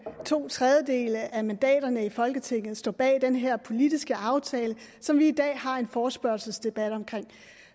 to tredjedele af mandaterne i folketinget står bag den her politiske aftale som vi i dag har en forespørgselsdebat om